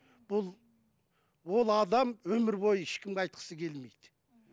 бұл ол адам өмірбойы ешкімге айтқысы келмейді